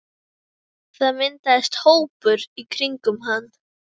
Það myndaðist hópur í kringum hann.